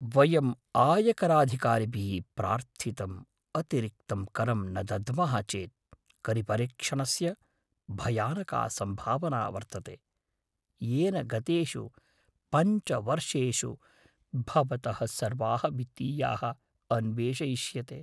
वयम् आयकराधिकारिभिः प्रार्थितम् अतिरिक्तं करं न दद्मः चेत् करिपरीक्षणस्य भयानका सम्भावना वर्तते, येन गतेषु पञ्च वर्षेषु भवतः सर्वाः वित्तीयाः अन्वेषयिष्यते।